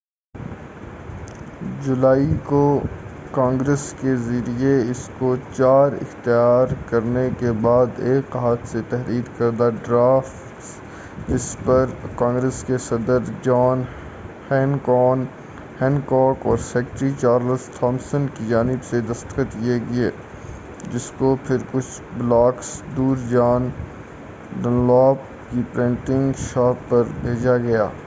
4 جولائی کو کانگریس کے ذریعے اس کو اختیار کرنے کے بعد ایک ہاتھ سے تحریر کردہ ڈرافٹ جس پر کانگریس کے صدر جان ہینکوک اور سیکریٹری چارلس تھامسن کی جانب سے دستخط کیے گئے جس کو پھر کُچھ بلاکس دُور جان ڈنلاپ کی پرنٹنگ شاپ پر بھیجا گیا